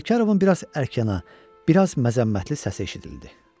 Sərkarovun biraz ərkyana, biraz məzəmmətli səsi eşidildi.